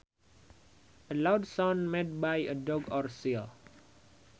A loud sound made by a dog or seal